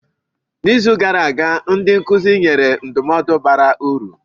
N'izu gara aga, ndị nkụzi nyere ndụmọdụ bara uru.